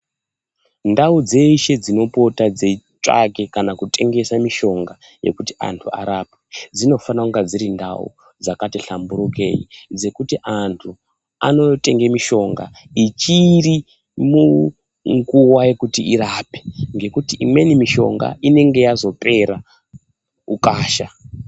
Ndau dzeshe dzinopota dzeitsvake kana kutengese mushonga yekuti antu arapwe dzinofanire kunge dziri ndau dzakati hlamburukei dzekuti antu anotenge mishonga ichiri munguwa yekuti irape ngekuti imweni mishonga inonga yazopera ukasha.